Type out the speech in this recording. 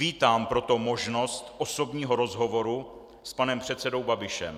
Vítám proto možnost osobního rozhovoru s panem předsedou Babišem.